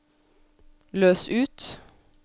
løs ut